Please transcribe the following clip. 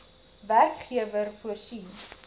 werkgewer voorsien